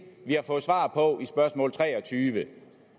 vi har fået svar på i spørgsmål nummer treogtyvende